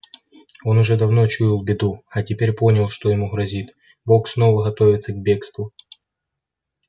он уже давно чуял беду а теперь понял что ему грозит бог снова готовится к бегству